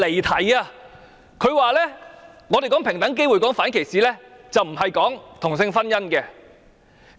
他說，他們談論平等機會、反歧視，並不是談論同性婚姻。